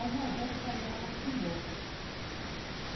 A irmã Angélica foi ameaçada de morte.